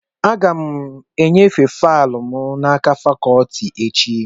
Aga m enyefe faịlụ m n'aka fakọtị echi